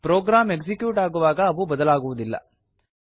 program execute ಆಗುವಾಗ ಅವು ಬದಲಾಗುವುದಿಲ್ಲ